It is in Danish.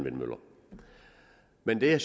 men det er